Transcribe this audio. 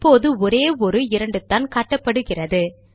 இப்போது ஒரே ஒரு இரண்டுதான் காட்டப்படுகிறது